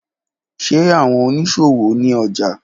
Ṣe awọn oniṣowo ni ọja?